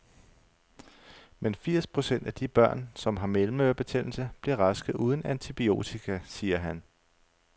Men firs procent af de børn, som har mellemørebetændelse, bliver raske uden antibiotika, siger han.